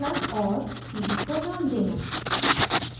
cd को नाम देना